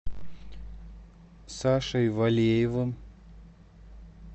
сашей валеевым